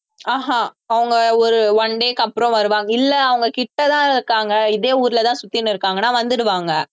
ஆஹ் அஹ் அவங்க ஒரு one day க்கு அப்புறம் வருவாங்க இல்லை அவங்ககிட்ட தான் இருக்காங்க இதே ஊர்ல தான் சுத்திட்டு இருக்காங்கன்னா வந்துடுவாங்க